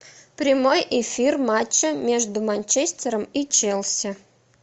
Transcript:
прямой эфир матча между манчестером и челси